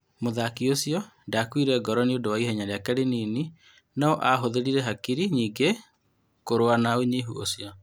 " Mũthaki ũcio ndakũire ngoro nĩ ũndũ wa ihenya rĩake rĩnini, no hũthĩrire hakiri nyingĩ kũrũa na ũnyihu ũcio.